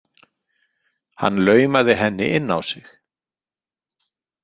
Hann laumaði henni inn á sig.